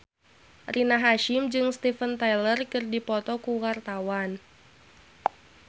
Rina Hasyim jeung Steven Tyler keur dipoto ku wartawan